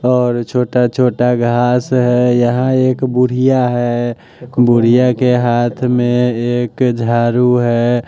और छोटा-छोटा घास है यहाँ एक बुढ़िया है बुढ़िया के हाथ में एक झारू है।